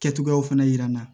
Kɛcogoyaw fana yira n na